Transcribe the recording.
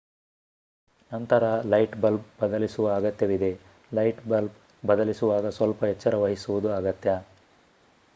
ನಂತರ light bulb ಬದಲಿಸುವ ಅಗತ್ಯವಿದೆ ಲೈಟ್ ಬಲ್ಬ್ ಬದಲಿಸುವಾಗ ಸ್ವಲ್ಪ ಎಚ್ಚರವಹಿಸುವುದು ಅಗತ್ಯ